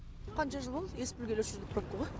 қанша жыл болды ес білгелі осы жерде пробка ғой